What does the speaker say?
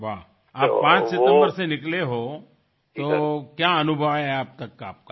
वाह आप 5 सितम्बर से निकले हो तो क्या अनुभव है अब तक का आपका